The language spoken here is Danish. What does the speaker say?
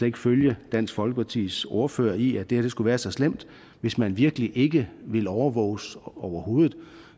ikke følge dansk folkepartis ordfører i at det her skulle være så slemt hvis man virkelig ikke vil overvåges overhovedet